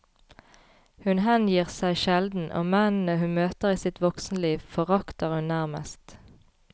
Hun hengir seg sjelden, og mennene hun møter i sitt voksenliv, forakter hun nærmest.